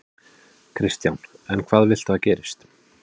Kristján: En hvað viltu að gerist?